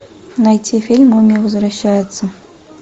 найти фильм мумия возвращается